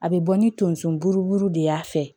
A bɛ bɔ ni tonso buru de y'a fɛ